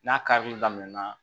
N'a karili daminɛna